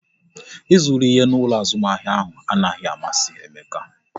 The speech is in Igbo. Ị zụru ihe n'ụlọ azụmahịa ahụ anaghị amasị Emeka